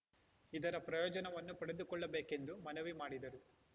ಇದರ ಪ್ರಯೋಜನವನ್ನು ಪಡೆದುಕೊಳ್ಳಬೇಕೆಂದು ಮನವಿ ಮಾಡಿದರು